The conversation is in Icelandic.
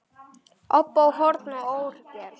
Óbó, horn og orgel.